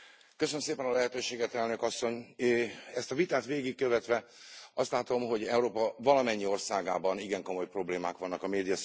Elnök Asszony, ezt a vitát végigkövetve azt látom, hogy Európa valamennyi országában igen komoly problémák vannak a médiaszabadságot illetően.